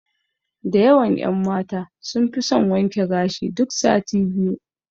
Da yawan ƴan mata sun fi son wanke gashi duk sati biyu.